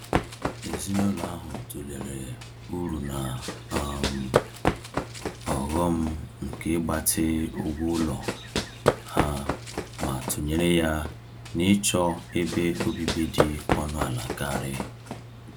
Ezinụlọ ahụ tụlere uru na um ọghọm nke ịgbatị ụgwọ ụlọ ha ma tụnyere ya na ịchọ ebe obibi dị ọnụ ala karị.